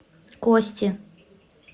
кости